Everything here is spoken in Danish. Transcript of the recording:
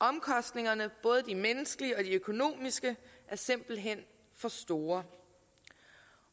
omkostningerne både de menneskelige og de økonomiske er simpelt hen for store